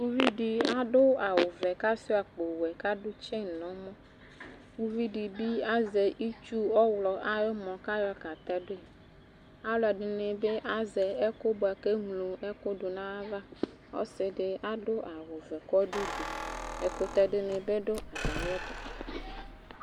Uvi dɩ adʋ awʋvɛ kʋ asʋɩa akpowɛ kʋ adʋ tsɛn nʋ ɛmɔ Uvi dɩ bɩ azɛ itsu ɔɣlɔ ayʋ ʋmɔ kʋ ayɔ katɛdʋ yɩ Alʋɛdɩnɩ bɩ azɛ ɛkʋ bʋa kʋ eŋlo ɛkʋ dʋ nʋ ayava Ɔsɩ dɩ adʋ awʋvɛ kʋ ɔdʋ udu Ɛkʋtɛ dɩnɩ bɩ dʋ atamɩɛtʋ